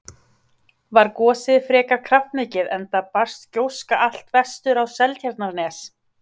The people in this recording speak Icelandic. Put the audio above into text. Var gosið frekar kraftmikið enda barst gjóska allt vestur á Seltjarnarnes.